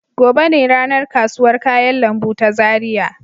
Gobe ne ranar kasuwar kayan lambu ta Zaria.